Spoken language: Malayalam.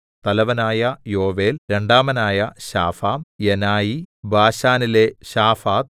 തലവനായ യോവേൽ രണ്ടാമനായ ശാഫാം യനായി ബാശാനിലെ ശാഫാത്ത്